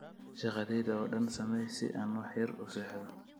shaqadayda oo dhan samee si aan wax yar u seexdo